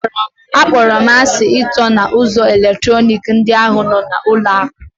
Akpọrọ m asị ịtọ na ụzọ eletrọnịkị ndị ahụ nọ n'ụlọ akụ.